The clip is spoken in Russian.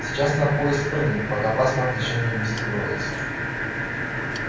сейчас на поезд прыгнуть пока паспорт ещё не внесли в розыск